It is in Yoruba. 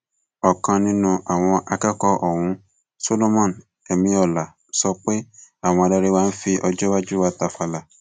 ọkan nínú àwọn akẹkọọ ọhún solomon emiola sọ pé àwọn adarí wa ń fi ọjọ iwájú wa tàfàlà